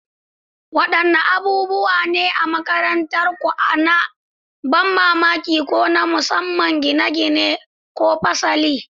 Wadanne abubuwa ne na makarantarku na ban mamaki ko na musamman gine-gine ko fasali?